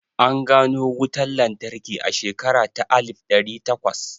An gano wutan lantarki a shekara ta alif ɗari takwas